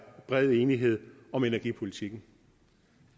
bred enighed om energipolitikken